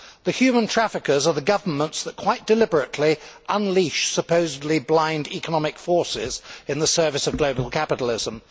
The human traffickers are the governments that quite deliberately unleash supposedly blind economic forces in the service of global capitalism.